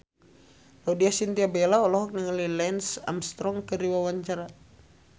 Laudya Chintya Bella olohok ningali Lance Armstrong keur diwawancara